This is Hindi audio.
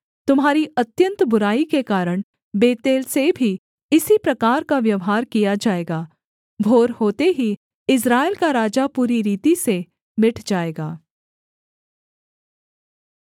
तुम्हारी अत्यन्त बुराई के कारण बेतेल से भी इसी प्रकार का व्यवहार किया जाएगा भोर होते ही इस्राएल का राजा पूरी रीति से मिट जाएगा